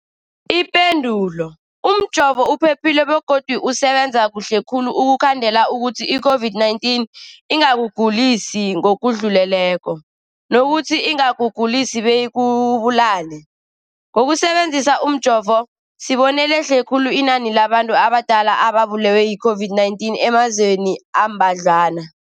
Ipendulo, umjovo uphephile begodu usebenza kuhle khulu ukukhandela ukuthi i-COVID-19 ingakugulisi ngokudluleleko, nokuthi ingakugulisi beyikubulale. Ngokusebe nzisa umjovo, sibone lehle khulu inani labantu abadala ababulewe yi-COVID-19 emazweni ambadlwana.